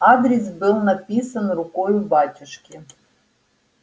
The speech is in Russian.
адрес был написан рукою батюшки